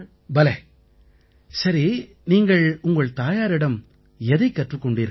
பலே சரி நீங்கள் உங்கள் தாயாரிடம் எதைக் கற்றுக் கொண்டீர்கள்